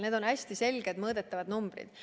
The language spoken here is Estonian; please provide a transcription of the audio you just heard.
Need on hästi täpselt mõõdetavad numbrid.